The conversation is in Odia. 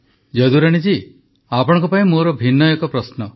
ଯଦୁରାଣୀ ଜୀ ଆପଣଙ୍କ ପାଇଁ ମୋର ଏକ ଭିନ୍ନ ପ୍ରଶ୍ନ